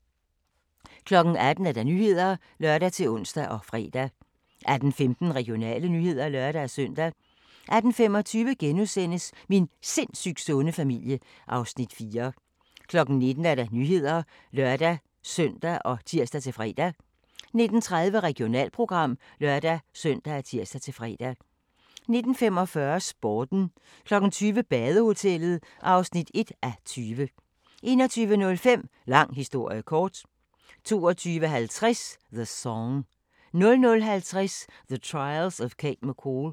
18:00: Nyhederne (lør-ons og fre) 18:15: Regionale nyheder (lør-søn) 18:25: Min sindssygt sunde familie (Afs. 4)* 19:00: Nyhederne (lør-søn og tir-fre) 19:30: Regionalprogram (lør-søn og tir-fre) 19:45: Sporten 20:00: Badehotellet (1:20) 21:05: Lang historie kort 22:50: The Song 00:50: The Trials of Cate McCall